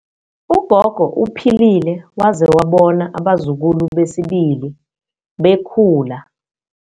Ugogo uphilile waze wabona abazukulu besibili bekhula.